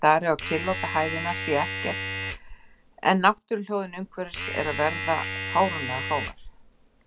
Ég stari á kyrrláta hæðina, sé ekkert en náttúruhljóðin umhverfis eru að verða fáránlega hávær.